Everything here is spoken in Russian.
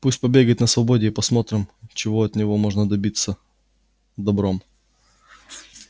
пусть побегает на свободе и посмотрим чего от него можно добиться добром